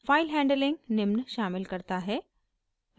file handling निम्न शामिल करता है